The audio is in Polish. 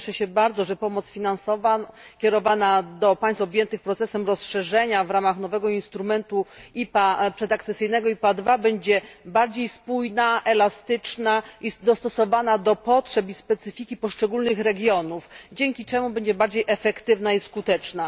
Cieszę się bardzo, że pomoc finansowa kierowana do państw objętych procesem rozszerzenia w ramach nowego instrumentu IPA, przedakcesyjnego IPA II, będzie bardziej spójna, elastyczna i dostosowana do potrzeb i specyfiki poszczególnych regionów, dzięki czemu będzie bardziej efektywna i skuteczna.